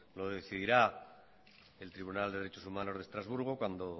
lo decidirá el tribunal de derechos humanos de estrasburgo cuando